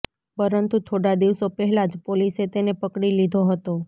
પરંતુ થોડા દિવસો પહેલા જ પોલીસે તેને પકડી લીધો હતો